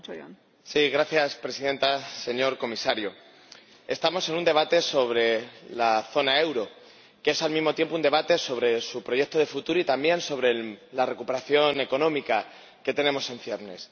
Señora Presidenta, señor Comisario, estamos en un debate sobre la zona del euro que es, al mismo tiempo, un debate sobre su proyecto de futuro y también sobre la recuperación económica que está en ciernes.